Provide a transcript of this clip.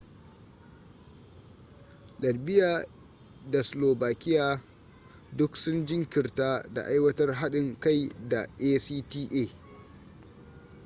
latvia da slovakia duk sun jinkirtar da aiwatar haɗin kai da acta